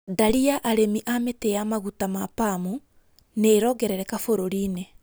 Ndari ya arĩmi a mĩtĩ ya maguta ma Palm nĩ ĩrongerereka bũrũri-inĩ